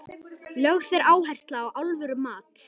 Lögð er áhersla á alvöru mat.